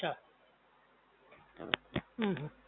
હમ્મ, અચ્છા